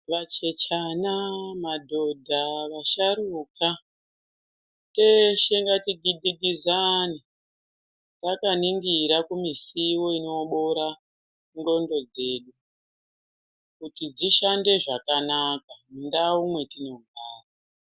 Vachechanaa, madhodhaa, vasharuka, teeshe ngatigidhigizane takaningira kumisiwo inoboora ndxondo dzedu, kuti dzeishande zvakanaka ,mundau mwetinogara.